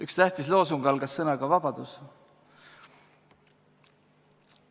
Üks tähtis loosung algas sõnaga "vabadus".